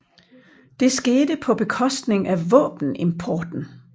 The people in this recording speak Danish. Det skete på bekostning af våbenimporten